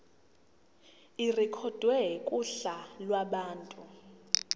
irekhodwe kuhla lwabantu